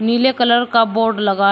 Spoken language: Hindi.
नीले कलर का बोर्ड लगा--